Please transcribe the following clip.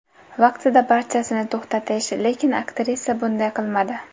Vaqtida barchasini to‘xtatish, lekin aktrisa bunday qilmadi.